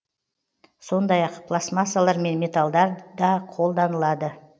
сондай ақ пластмассалар мен металдар да қолданылады